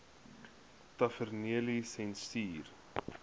tavernelisensier